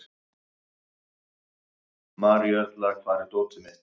Maríuerla, hvar er dótið mitt?